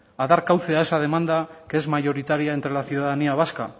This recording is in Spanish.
a dar cauce esa demanda que es mayoritaria entre la ciudadanía vasca